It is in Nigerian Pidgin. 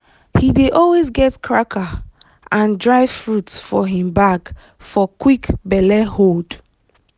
he dey always get cracker and dry fruit for him bag for quick belle hold.